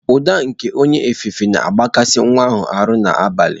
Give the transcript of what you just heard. Ụda nke onye ofufe na-akpaghasị nwa ahụ n'abalị.